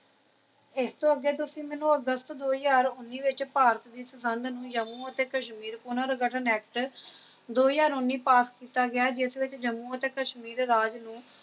ਇਸਤੋਂ ਅਗੇ ਤੁਸੀ ਮੈਨੂੰ ਅਗਸਤ ਦੋ ਹਜ਼ਾਰ ਉਨੀ ਵਿੱਚ ਭਾਰਤ ਦੀ ਸੰਬੰਧ ਨੇ ਜੰਮੂ ਅਤੇ ਕਸ਼ਮੀਰ ਪੂਰਨ ਗਠਨ ਐਕਟ ਦੋ ਹਜ਼ਾਰ ਉਨੀ ਵਿਚ ਪਾਸ ਕੀਤਾ ਗਿਆ ਜਿਸ ਵਿਚ ਜੰਮੂ ਅਤੇ ਕਸ਼ਮੀਰ ਰਾਜ ਨੂੰ